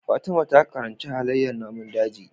Fatima ta karanci halaiyar namun daji